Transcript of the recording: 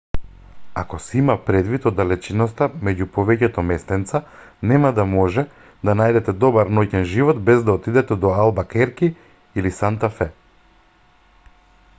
ако се има предвид оддалеченоста меѓу повеќето местенца нема да може да најдете добар ноќен живот без да отидете до албакерки или санта фе